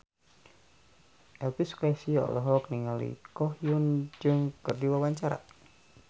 Elvy Sukaesih olohok ningali Ko Hyun Jung keur diwawancara